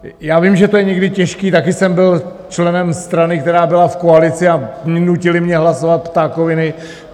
Já vím, že je to někdy těžké, také jsem byl členem strany, která byla v koalici, a nutili mě hlasovat ptákoviny.